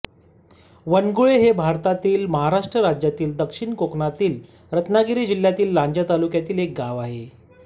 वनगुळे हे भारतातील महाराष्ट्र राज्यातील दक्षिण कोकणातील रत्नागिरी जिल्ह्यातील लांजा तालुक्यातील एक गाव आहे